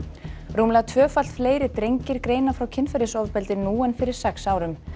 rúmlega tvöfalt fleiri drengir greina frá kynferðisofbeldi nú en fyrir sex árum